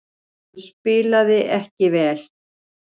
Hann spilaði ekki vel.